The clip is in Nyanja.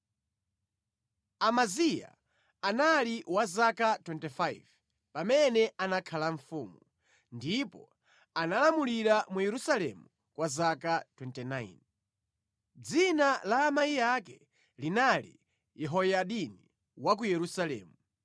Amaziya anali wa zaka 25 pamene anakhala mfumu, ndipo analamulira mu Yerusalemu kwa zaka 29. Dzina la amayi ake linali Yehoyadini wa ku Yerusalemu.